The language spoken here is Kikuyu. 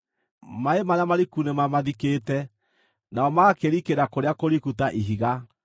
Maaĩ marĩa mariku nĩmamathikĩte; Nao magakĩrikĩra kũrĩa kũriku ta ihiga.